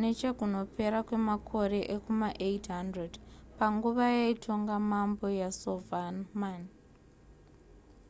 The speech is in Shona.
nechekunopera kwemakore ekuma800 panguva yaitonga mambo yasovarman